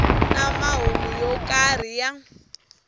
na mahungu yo karhi ya